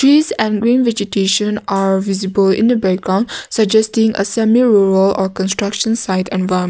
trees and green vegetation are visible in the background suggesting a semi rural construction site environment.